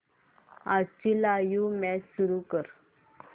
आजची live match सुरू कर